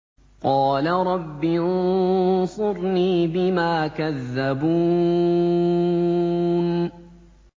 قَالَ رَبِّ انصُرْنِي بِمَا كَذَّبُونِ